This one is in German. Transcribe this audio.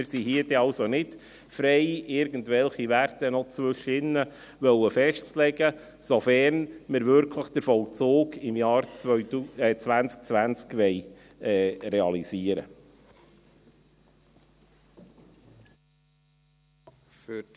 Wir sind hier also nicht frei, noch irgendwelche Werte dazwischen festzulegen, sofern wir den Vollzug wirklich im Jahr 2020 realisieren wollen.